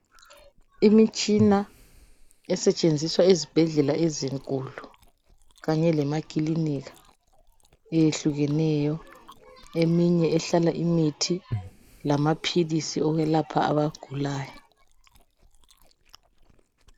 Imitshina esetshenziswa ezibhedlela ezinkulu kanye lemakilinika eyehlukeneyo eminye ehlala imithi lamaphilisi okwelapha abagulayo.